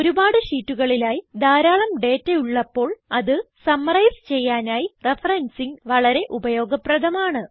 ഒരുപാട് ഷീറ്റുകളിലായി ധാരാളം ഡേറ്റ ഉള്ളപ്പോൾ അത് സമ്മറൈസ് ചെയ്യാനായി റഫറൻസിങ് വളരെ ഉപയോഗപ്രധമാണ്